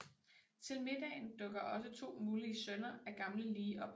Til middagen dukker også to mulige sønner af gamle Lee op